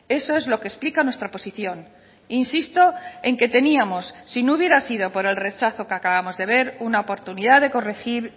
eso es lo que explica nuestra posición insisto en que teníamos sino hubiera sido por el rechazo que acabamos de ver una oportunidad de corregir